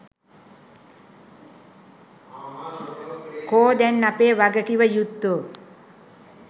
කො දැන් අපේ වගකිව යුත්තො?